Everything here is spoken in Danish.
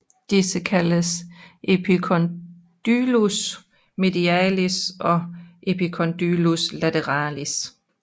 Disse kaldes epicondylus medialis og epicondylus lateralis